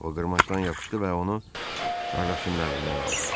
O qırmancdan yapışdı və onu qardaşının əlindən aldı.